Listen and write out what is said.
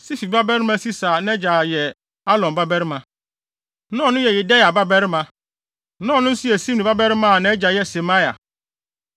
Sifi babarima Sisa a nʼagya yɛ Alon babarima, na ɔno yɛ Yedaia babarima, na ɔno nso yɛ Simri babarima a nʼagya yɛ Semaia.